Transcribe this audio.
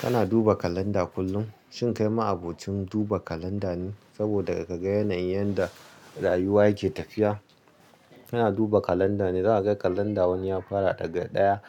Kana duba kalanda kullum. Shin kai ma abokin duba kalanda ne? Saboda ka ga yanayin yadda rayuwa yake tafiya. Kana duba kalanda ne, za ka ga kalanda wani ya fara daga ɗaya